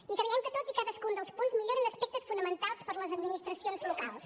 i creiem que tots i cadascun dels punts milloren aspectes fonamentals per les administracions locals